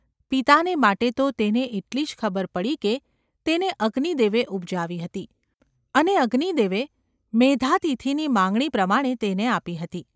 પિતાને માટે તો તેને એટલી જ ખબર પડી કે તેને અગ્નિદેવે ઉપજાવી હતી અને અગ્નિદેવે મેઘાતિથિની માંગણી પ્રમાણે તેને આપી હતી.